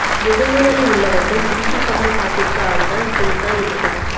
முதுகுவலி உள்ளவர்கள் ஜிமிக்கி கம்மல் பாட்டிற்கு ஆடினா இப்படி தான் இருக்கும்